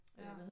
Ja